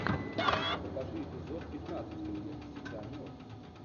покажи эпизод пятнадцать клиент всегда мертв